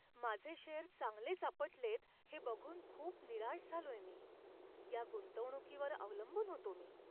माझे शेअर चांगलेच आपटलेत हे बघून खूप निराश झालोय मी. या गुंतवणुकीवर अवलंबून होतो मी.